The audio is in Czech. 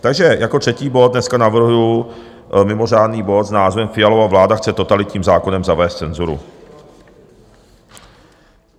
Takže jako třetí bod dneska navrhuji mimořádný bod s názvem Fialova vláda chce totalitním zákonem zavést cenzuru.